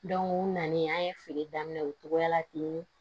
u nanen an ye feere daminɛ o togoya la ten